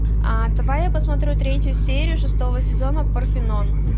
а давай я посмотрю третью серию шестого сезона парфенон